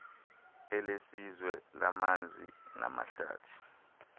elesizwe lamanzi namahlathi